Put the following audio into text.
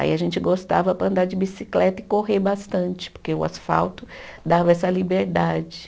Aí a gente gostava para andar de bicicleta e correr bastante, porque o asfalto dava essa liberdade.